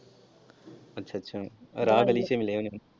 ਅੱਛਾ ਅੱਛਾ ਰਾਹ ਬੜੇ ਚੁਣ ਲਏ ਉਹਨੇ।